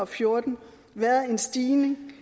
fjorten været en stigning